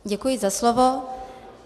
Děkuji za slovo.